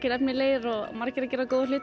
efnilegir og margir að gera góða hluti